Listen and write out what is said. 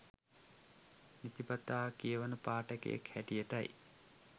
නිතිපතා කියවන පාඨකයෙක් හැටියටයි